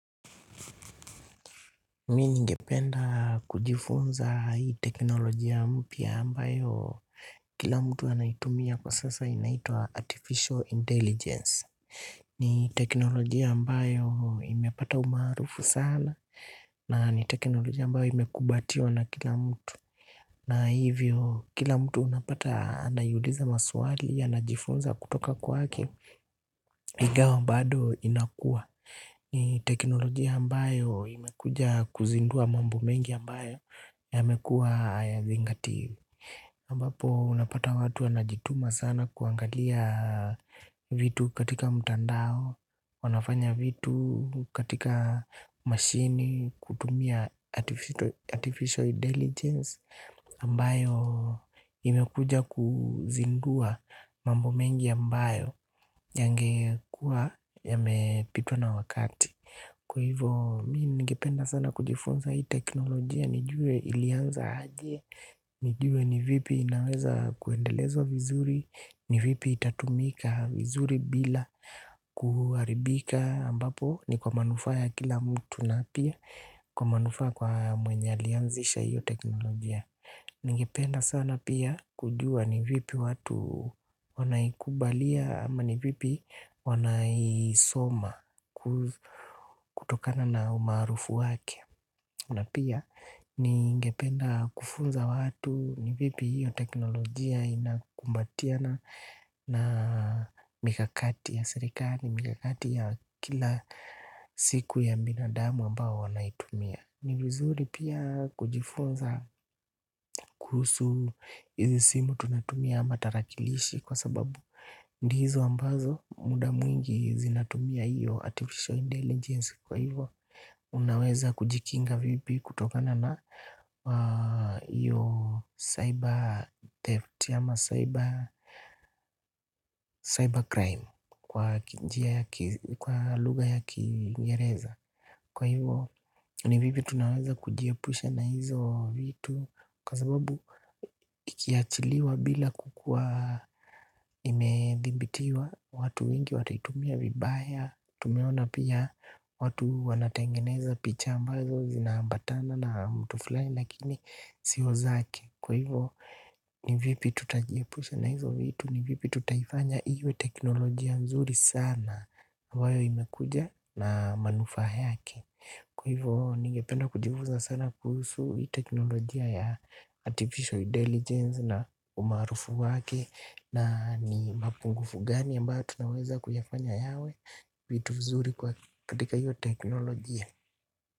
Mi ningependa kujifunza hii teknolojia mpya ambayo kila mtu anaitumia kwa sasa inaitwa artificial intelligence. Ni teknolojia ambayo imepata umaarufu sana na ni teknolojia ambayo imekubatiwa na kila mtu. Na hivyo kila mtu unapata anaiuliza maswali anajifunza kutoka kwake ingawa bado inakua. Ni teknolojia ambayo imekuja kuzindua mambo mengi ambayo yamekuwa hayazingatiwi ambapo unapata watu anajituma sana kuangalia vitu katika mtandao. Wanafanya vitu katika machine kutumia artificial intelligence ambayo imekuja kuzindua mambo mengi ambayo yangekuwa yamepitwa na wakati kwa hivyo mi ningependa sana kujifunza hii teknolojia nijue ilianza aje nijue ni vipi inaweza kuendelezwa vizuri ni vipi itatumika vizuri bila kuharibika ambapo ni kwa manufaa ya kila mtu na pia kwa manufaa kwa mwenye alianzisha hii teknolojia. Ningependa sana pia kujua ni vipi watu wanaikubalia ama ni vipi wanaisoma kutokana na umaarufu wake na pia ningependa kufunza watu ni vipi hiyo teknolojia inakumbatiana na mikakati ya serikali, mikakati ya kila siku ya binadamu ambao wanaitumia. Ni vizuri pia kujifunza kuhusu izinsimu tunatumia ama tarakilishi kwa sababu ndizo ambazo muda mwingi zinatumia iyo artificial intelligence kwa hivyo unaweza kujikinga vipi kutokana na hiyo cyber theft ama cyber crime kwa lugha ya kiingereza. Kwa hivyo ni vipi tunaweza kujiepusha na hizo vitu. Kwa sababu ikiachiliwa bila kukua imedhibitiwa. Watu wengi wataitumia vibaya. Tumeona pia watu wanatengeneza picha ambazo zinambatana na mtu fulai. Lakini sio zake. Kwa hivyo ni vipi tutajiepusha na hizo vitu. Ni vipi tutaifanya iwe teknolojia mzuri sana. Hivyo imekuja na manufa yake. Kwa hivo ningependa kujivunza sana kuhusu hii teknolojia ya artificial intelligence na umaarufu wake na ni mapungufu gani ambao tunaweza kuyafanya yawe vitu vizuri katika hii teknolojia.